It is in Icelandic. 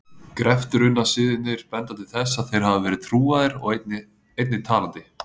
Greftrunarsiðirnir benda til þess að þeir hafi verið trúaðir og einnig talandi.